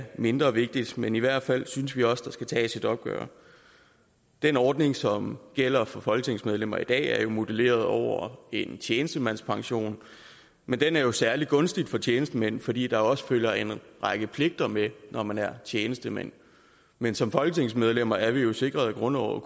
mindre vigtigt men i hvert fald synes vi også at der skal tages et opgør den ordning som gælder for folketingsmedlemmer i dag er jo modelleret over en tjenestemandspension men den er særlig gunstig for tjenestemænd fordi der også følger en række pligter med når man er tjenestemand men som folketingsmedlemmer er vi jo sikret i grundloven